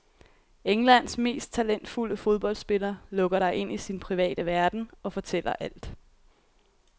Englands mest talentfulde fodboldspiller lukker dig ind i sin private verden og fortæller alt.